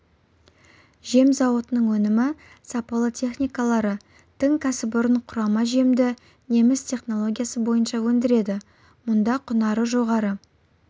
жем зауытының өнімі сапалы техникалары тың кәсіпорын құрама жемді неміс технологиясы бойынша өндіреді мұнда құнары жоғары